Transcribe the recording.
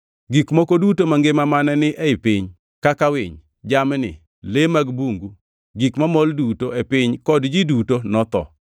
Gik moko duto mangima mane ni e piny kaka winy, jamni, le mag bungu, gik mamol duto e piny kod ji duto notho.